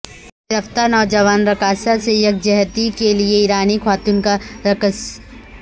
گرفتار نوجوان رقاصہ سے یکجہتی کے لیے ایرانی خواتین کا رقص